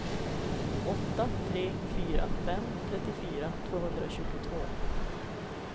åtta tre fyra fem trettiofyra tvåhundratjugotvå